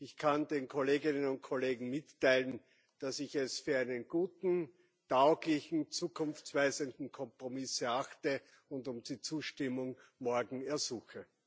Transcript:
Ich kann den Kolleginnen und Kollegen mitteilen, dass ich es als einen guten, tauglichen, zukunftsweisenden Kompromiss erachte und um die Zustimmung morgen ersuche.